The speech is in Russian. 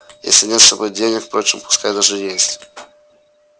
если нет с собой денег впрочем пускай даже есть